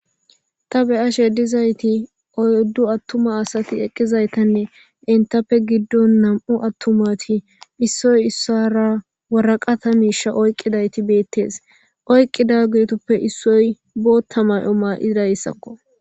ta beyashe dizayti oyddu attuma asati eqqizaytanne entappe giddon nam'u attumati issoy issara waraqata miisha oyqqidayti beettees oyqqidagetuppe issoy bootta mayo ma'idayssakko